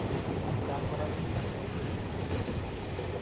Atkaan koraa kopitunee kapsigisio ngweny.